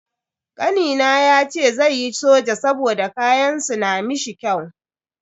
Kanina yace zai yi soja saboda kayan su na mishi kyau.